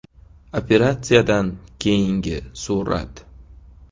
Operatsiyadan keyingi surat.